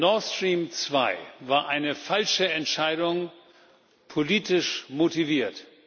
Nord Stream 2 war eine falsche Entscheidung, politisch motiviert.